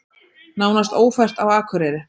Nánast ófært á Akureyri